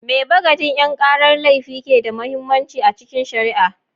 Me bagadin 'yan karar laifi ke da mahimmanci a cikin shari'a?